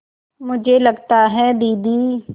मुझे लगता है दीदी